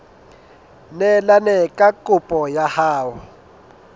neelane ka kopo ya hao